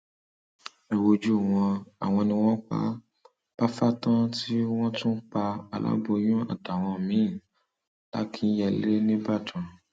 ẹ wojú wọn àwọn ni wọn pa bafatán tí wọn tún pa aláboyún àtàwọn míín làkínyẹlẹ nìbàdàn